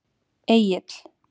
Egill